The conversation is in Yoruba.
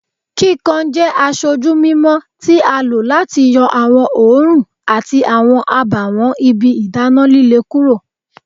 kikan jẹ aṣoju mimọ ti a lo lati yọ awọn oorun ati awọn abawọn ibi idana lile kuro